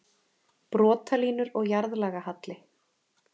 Brotalínur og jarðlagahalli